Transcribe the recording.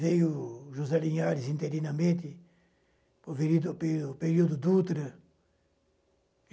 Veio José Linhares interinamente, para o período o período Dutra.